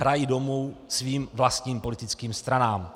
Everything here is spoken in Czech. Hrají domů svým vlastním politickým stranám.